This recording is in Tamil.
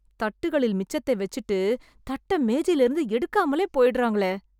தட்டுகளில் மிச்சத்தை வெச்சுட்டு, தட்ட மேஜையிலிருந்து எடுக்காமலே போயிடறாங்களே...